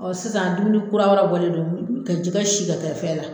sisan dumuni kura wɛrɛ bɔlen do ka jigɛ sin ka kɛ fɛn la.